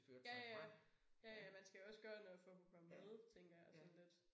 Ja ja ja ja man skal jo også gøre noget for at kunne komme med tænker jeg sådan lidt